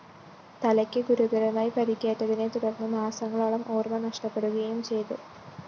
തലയ്ക്ക് ഗുരുതരമായി പരിക്കേറ്റതിനെ തുടര്‍ന്ന് മാസങ്ങളോളം ഓര്‍മ നഷ്ടപ്പെടുകയും ചെയ്തു